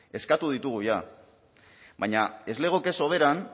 eskatu ditugu jada baina ez legoke soberan